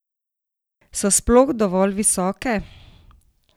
So sploh dovolj visoke?